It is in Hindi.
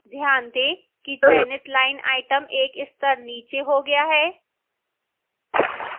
ध्यान दें कि चयनित line item एक स्तर नीचे हो गया है